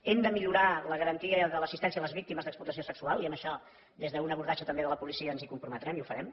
hem de millorar la garantia de l’assistència a les víctimes d’explotació sexual i en això des d’un abordatge també de la policia ens hi comprometrem i ho farem